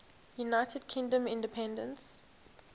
united kingdom independence